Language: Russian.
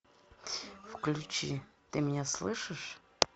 включи ты меня слышишь